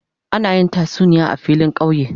Ana yin tasuniya a filin kauye.